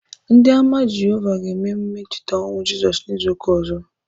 Ndị Ámá Jehovah ga-eme emume ncheta ọnwụ Jisos n'izu ụka ọzọ.